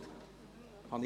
– Besten Dank.